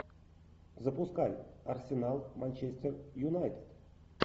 запускай арсенал манчестер юнайтед